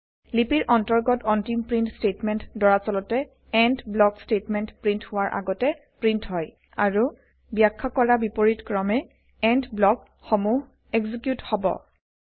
লিপিৰ অন্তৰ্গত অন্তিম প্ৰীন্ট স্তেটমেন্ট দৰাচলতে এণ্ড ব্লক স্তেটমেন্ট প্ৰীন্ট হোৱাৰ আগতে প্ৰীন্ট হয় আৰু বাখ্যা কৰা বিপৰীত ক্ৰমে এণ্ড ব্লক সমূহ এক্সিকিউত হব